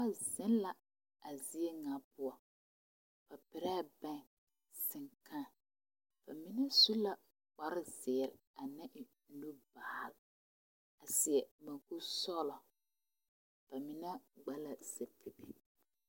Noba zeŋ la a zie ŋa poɔ ba perɛɛ bɛŋ seŋkãã ba mine su la kpare zeere ka mine e buluu baal a seɛ mukuri sɔglɔ ba mine gba sapili.